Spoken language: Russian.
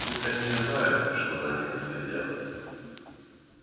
пусть они не знают что за ними следят